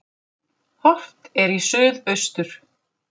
Horft er í suðaustur.